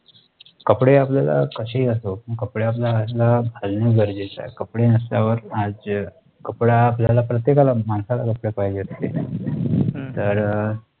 कपडे आपल्याला कशेही असो पण कपडे आपल्याला असणं घालन गरजेचं आहे कपडे नसल्यावर आज अह कापड आपल्याला प्रत्येकाला माणसाला कपडे पाहिजे असतील तर अह